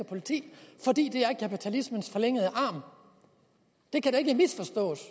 politi fordi det er kapitalismens forlængede arm det kan da ikke misforstås